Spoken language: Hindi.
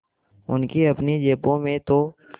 उनकी अपनी जेबों में तो